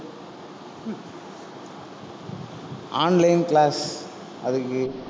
online class அதுக்கு